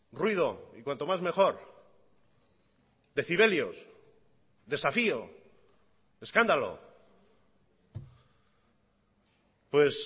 ruido y cuanto más mejor decibelios desafío escándalo pues